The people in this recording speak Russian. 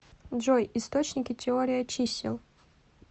джой источники теория чисел